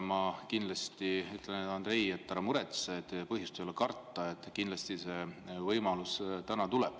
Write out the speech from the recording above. Ma ütlen, Andrei, ära muretse, ei ole põhjust karta, kindlasti see võimalus täna tuleb.